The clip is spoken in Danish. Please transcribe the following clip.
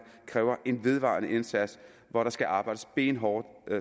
kræver en vedvarende indsats hvor der skal arbejdes benhårdt